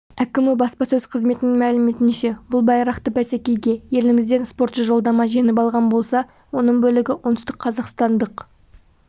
әкімі баспасөз қызметінің мәліметінше бұл байрақты бәсекеге елімізден спортшы жолдама жеңіп алған болса оның бөлігі оңтүстік қазақстандық